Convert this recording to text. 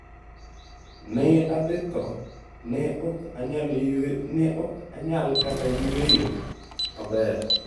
Ne adhi tho, ne ok anyal kata yueyo maber.